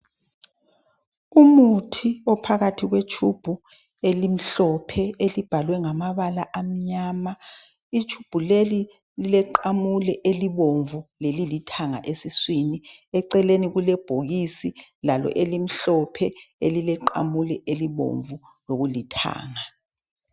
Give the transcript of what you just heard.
Umuthi ophakathi kwetshubhu elimhlophe elibhalwe ngamabala amnyama. Itshubhu leli lileqamule elibomvu lelithanga esiswini. Eceleni kulebhokisi lalo elimhlophe okuleqamule elibomvu lokulithanga.